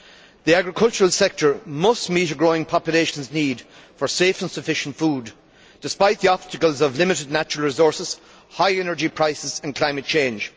The agricultural sector must meet a growing population's need for safe and sufficient food despite the obstacles of limited natural resources, high energy prices and climate change.